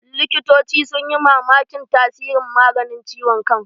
Likitoci sun ji mamakin tasirin maganin ciwon kan